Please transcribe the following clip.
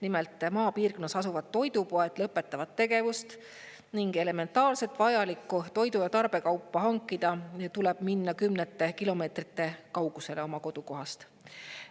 Nimelt, maapiirkonnas asuvad toidupoed lõpetavad tegevust ning selleks, et elementaarselt vajalikku toidu- ja tarbekaupa hankida tuleb minna kümnete kilomeetrite kaugusele oma kodukohast.